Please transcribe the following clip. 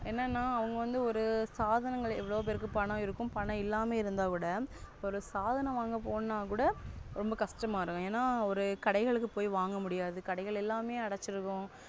என்னனா அவங்கவந்து ஒரு சாதாரங்க எவ்ளோபெருக்கு பணம் இருக்கும் பணம் இல்லாம இருந்தாக்கூட ஒரு சாதன வாங்க போனாக்கூட ரோம்ப கஷ்டமாயிடு என ஒரு கடைகளுக்கு போய் வாங்க முடியாது கடைகள் எல்லாமெ அடச்சி இருக்கு.